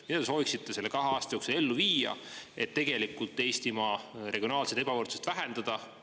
Mida te sooviksite selle kahe aasta jooksul ellu viia, et tegelikult Eestimaa regionaalset ebavõrdsust vähendada?